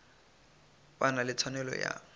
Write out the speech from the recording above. ba na le tshwanelo ya